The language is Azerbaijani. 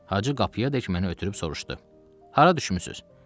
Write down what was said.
Hacı qapıyadək məni ötürüb soruşdu: Hara düşmüsüz?